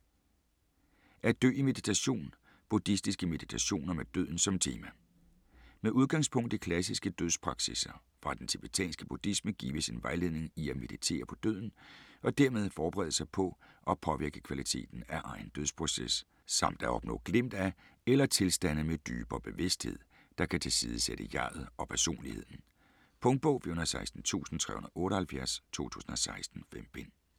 At dø i meditation: buddhistiske meditationer med døden som tema Med udgangspunkt i klassiske dødspraksisser fra den tibetanske buddhisme gives en vejledning i at meditere på døden og dermed forberede sig på og påvirke kvaliteten af egen dødsproces, samt at opnå glimt af eller tilstande med dybere bevidsthed, der kan tilsidesætte jeg'et og personligheden. Punktbog 416378 2016. 5 bind.